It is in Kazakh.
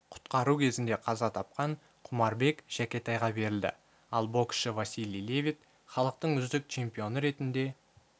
құтқару кезінде қаза тапқан құмарбек жәкетайға берілді ал боксшы василий левит халықтың үздік чемпионы ретінде